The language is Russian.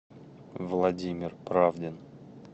владимир правдин